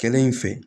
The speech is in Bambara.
Kɛlen in fɛ